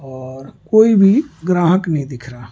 कोई भी ग्राहक नहीं दिख रहा।